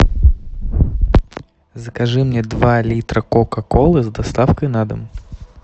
закажи мне два литра кока колы с доставкой на дом